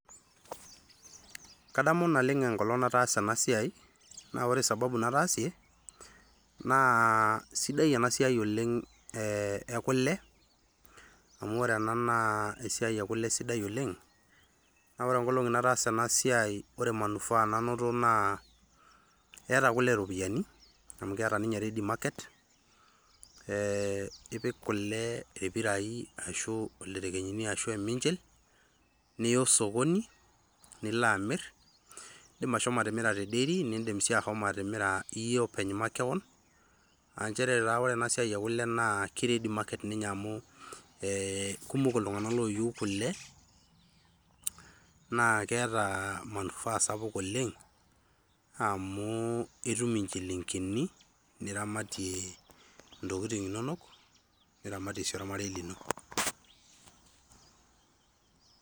Kadmu naleng' enkolong' nataasa ena siai, naa ore sababu nataasie naa kesidai ena siai oleng' ekule amu ore ena naa esiai ekule naa sidai oleng', naa ore nkolong'i nataasa ena siai naa ore manufaa nanoto naa keeta kule iropiyiani amu keeta ninye ready market ee ipik kule irpirai ilderekenyi arashu eminchil niya osokoni nilo amirr, iindim ashomo atimira te dairy niidim sii ashomo atimira iyie makewon. Aa nchere taa ore ena siai ekule naa ke ready market amu ee kumok illtung'anak ooyieu kule naa keeta [cs[manufaa sapuk oleng' amu itum inchilingini niramatie ntokitin inonok niramatie sii ormarei lino.